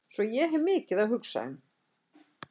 Svo ég hef mikið að hugsa um.